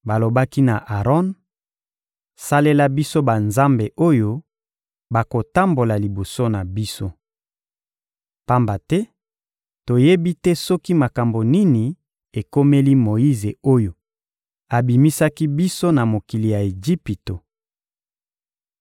Balobaki na Aron: «Salela biso banzambe oyo bakotambola liboso na biso. Pamba te toyebi te soki makambo nini ekomeli Moyize oyo abimisaki biso na mokili ya Ejipito!»